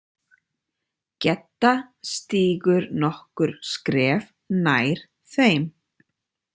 Gedda stígur nokkur skref nær þeim.